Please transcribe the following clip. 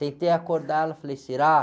Tentei acordar ela, falei, será?